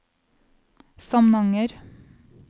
Samnanger